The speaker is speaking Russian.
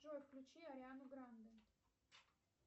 джой включи ариану гранде